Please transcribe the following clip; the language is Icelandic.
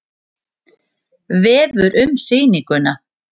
Vefur um sýninguna